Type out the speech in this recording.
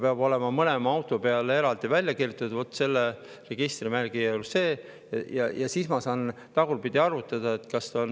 Peab olema mõlema auto kohta eraldi välja kirjutatud: vaat selle registrimärgiga on see.